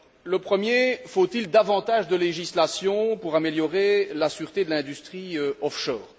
Le premier faut il davantage de législation pour améliorer la sûreté de l'industrie offshore?